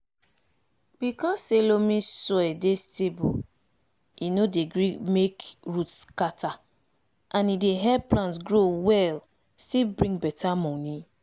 because say loamy soil dey stable e no dey gree make root scatter and e dey help plant grow well still bring beta moni